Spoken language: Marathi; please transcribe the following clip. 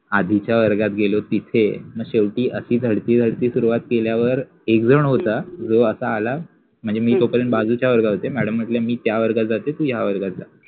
आधिच्याया वर्गात गेलो तिथे आणी शेवटि झळति झळति सुरु केल्यावर एक झण होता जो आता आला मनजे मि तोपर्यंत बाजुच्या वर्गावर होते मॅडम मटल्या मि या वर्गात जाते तु त्या वर्गात जा